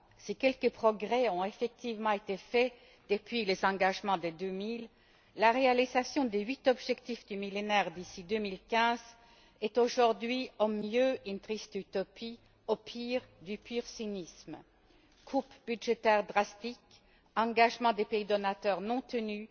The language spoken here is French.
Si quelques progrès ont effectivement été faits depuis les engagements de 2000, la réalisation des huit objectifs du Millénaire d'ici 2015 est aujourd'hui, au mieux, une triste utopie, au pire, du pur cynisme coupes budgétaires drastiques, engagements des pays donateurs non tenus.